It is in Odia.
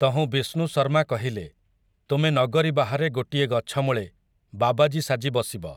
ତହୁଁ ବିଷ୍ଣୁଶର୍ମା କହିଲେ, ତୁମେ ନଗରୀ ବାହାରେ ଗୋଟିଏ ଗଛମୂଳେ, ବାବାଜି ସାଜି ବସିବ ।